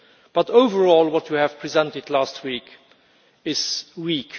But overall, what you presented last week is weak.